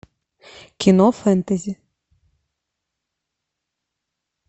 кино фэнтези